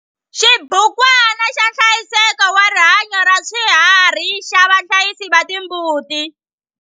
XIBUKWANA XA NHLAYISEKO WA RIHANYO RA SWIHARHI XA VAHLAYISI VA TIMBUTI.